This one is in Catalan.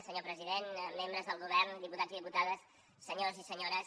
senyor president membres del govern diputats i diputades senyors i senyores